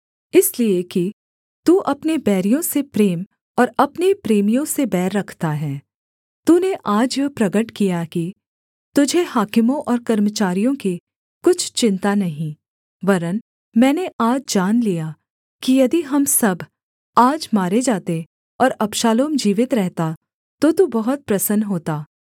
इसलिए कि तू अपने बैरियों से प्रेम और अपने प्रेमियों से बैर रखता है तूने आज यह प्रगट किया कि तुझे हाकिमों और कर्मचारियों की कुछ चिन्ता नहीं वरन् मैंने आज जान लिया कि यदि हम सब आज मारे जाते और अबशालोम जीवित रहता तो तू बहुत प्रसन्न होता